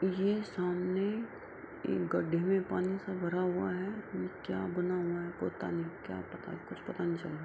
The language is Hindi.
ये सामने एक गड्ढे में पानी सा भरा हुआ है और क्या बना हुआ है। पता नहीं क्या पता कुछ पता नहीं चल रहा --